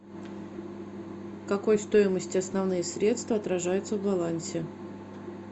какой стоимости основные средства отражаются в балансе